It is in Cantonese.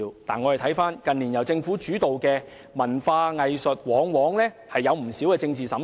不過，我們看到近年由政府主導的文化藝術活動往往出現不少政治審查。